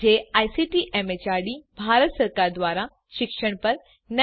જે ICT MHRD Bharat સરકાર દ્વારા શિક્ષણ પર નેશનલ મિશન દ્વારા આધારભૂત છે